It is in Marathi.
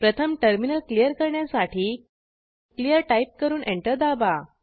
प्रथम टर्मिनल क्लियर करण्यासाठी क्लियर टाईप करून एंटर दाबा